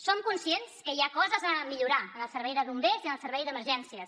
som conscients que hi ha coses a millorar en el servei de bombers i en el servei d’emergències